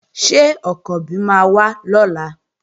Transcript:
Ṣé Ọ̀kànbí máa wá lọ́la?